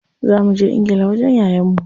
Za muje ingila wajen yayan mu.